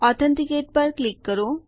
authenticate પર click કરો